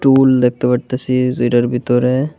ফুল দেখতে পারতাসি যেটার ভিতরে--